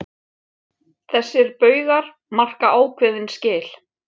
Þessir baugar marka ákveðin skil.